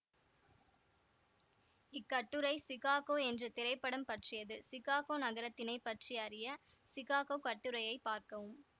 இக்கட்டுரை Chicago என்ற திரைப்படம் பற்றியது சிகாகோ நகரத்தினை பற்றி அறிய சிகாகோ கட்டுரையை பார்க்கவும்